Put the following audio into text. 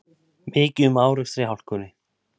Mikið um árekstra í hálkunni